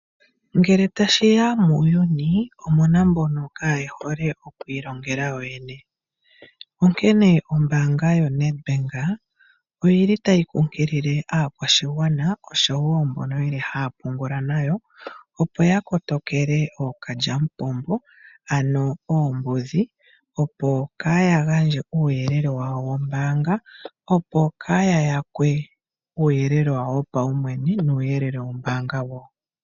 Ngele tashi ya muuyuni omu na mbono kaaye hole oku ilongela yoyene. Onkene ombaanga yaNedbank oyi li tayi kunkilile aakwashigwana oshowo mbono haya pungula nayo, opo ya kotokele ookalyamupombo, ano oombudhi, opo kaaya gandje uuyelele wawo wombaanga, opo kaaya yakwe uuyelele wawo wopaumwene nuuyelele wombaanga wo.